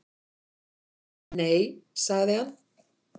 """Nei, sagði hann."""